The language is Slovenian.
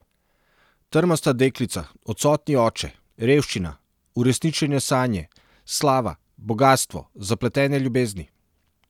Trmasta deklica, odsotni oče, revščina, uresničene sanje, slava, bogastvo, zapletene ljubezni.